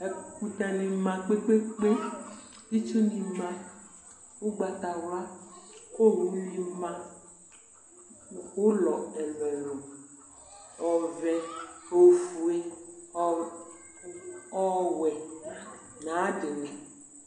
Ɛkʋtɛ ni ma kpe kpe kpe kʋ itsu ni ma kʋ ʋgbatawla kʋ owʋni ma nʋ ʋlɔ ɛlʋ ɛlʋ ɔvɛ ofue ɔwɛ nʋ ayu adini